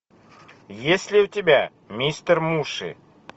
есть ли у тебя мистер муши